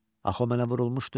Axı o mənə vurulmuşdu.